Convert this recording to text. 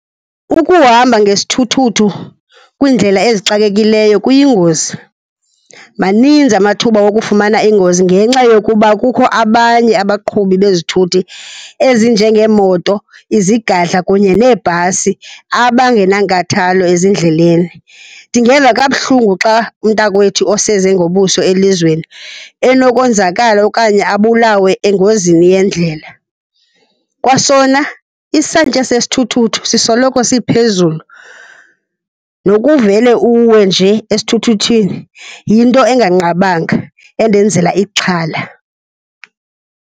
Ukuhamba ngesithuthuthu kwiindlela ezixakekileyo kuyingozi, maninzi amathuba okufumana ingozi ngenxa yokuba kukho abanye abaqhubi bezithuthi ezinjengeemoto, izigadla kunye neebhasi abangenankathalo ezindleleni. Ndingeva kabuhlungu xa umntakwethu oseze ngobuso elizweni enokonzakala okanye abulawe engozini yendlela. Kwasona isantya sesithuthuthu sisoloko siphezulu, nokuvele uwe nje esithuthuthini yinto enganqabanga endenzela ixhala.